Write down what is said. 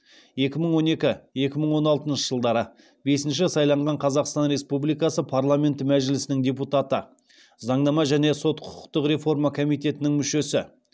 екі мың он екі екі мың он алтыншы жылдары бесінші сайланған қазақстан республикасы парламенті мәжілісінің депутаты заңнама және сот құқықтық реформа комитетінің мүшесі